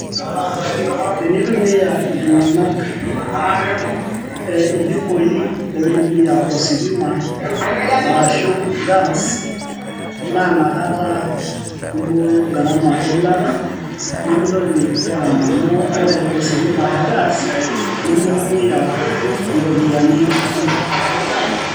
te neitumia iltung'anak, iljikoi oitumia ositima arashu gas. naa inakata eibooyo garama eilata. nemeitoki garama amu ore ositima ashu gas nemeitumia iropiyiani kumok.